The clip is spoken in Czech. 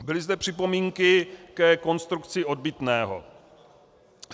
Byly zde připomínky ke konstrukci odbytného.